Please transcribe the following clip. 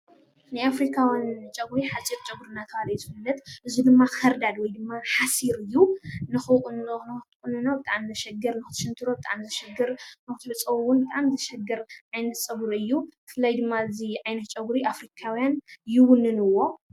ናይ ኣፍሪካውያን ፀጉሪ ሓፂር ፀጉሪ እናተባሃለ እዩ ዝፍለጥ፡፡ እዚ ድማ ከርዳድን ሓሲርን እዩ፡፡ ንክትቁንኖ ብጣዕሚ መሸገሪ ፣ንክትስንትሮ ብጣዕሚ መሸገሪ፣ ንክትሕፀቦ እውን ብጣዕሚ ዘሽግር ዓይነት ፀጉሪ እዩ፡፡ ብፍላይ ድማ እዚ ዓይነት ፀጉሪ ኣፍሪካውያን ይውንንዎ፡፡